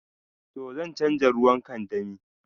To, zan chanza ruwan kandami.